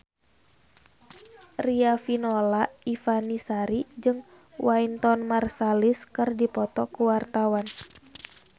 Riafinola Ifani Sari jeung Wynton Marsalis keur dipoto ku wartawan